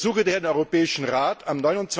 Ich ersuche daher den Europäischen Rat, am